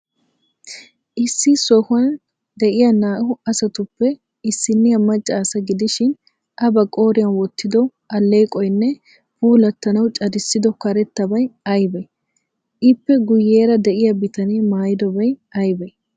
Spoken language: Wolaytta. Issi sohuwan de'iya naa''u asatuppe issinniya macca asa gidishin,A ba qooriyan wottido alleeqoynne puulattanawu cadissido karettabay aybee? Ippe guuyeera de'iya bitanee maayidobay aybee?